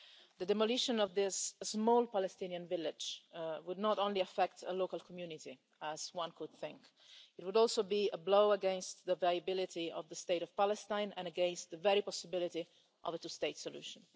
The demolition of this small Palestinian village would not only affect a local community, as one would think it would also be a blow against the viability of the State of Palestine and against the very possibility of a two state solution.